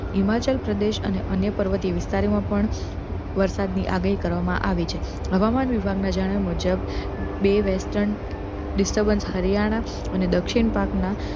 હિમાચલ પ્ર્દેશ અને અન્ય પર્વતીય વિસ્તારો મા પણ વરસાદ ની આગાહી કરવામા આવી છે હવામાન ના વિભાગ ના જણાવ્યા મુજબ બે western disturbance હરિયાણા અને દક્ષિણ ભાગ ના